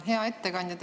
Hea ettekandja!